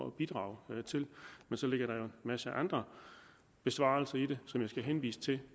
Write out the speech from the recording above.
at bidrage til men så ligger der jo en masse andre besvarelser i det som jeg skal henvise til